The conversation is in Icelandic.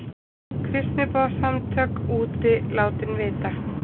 Kristniboðssamtök úti látin vita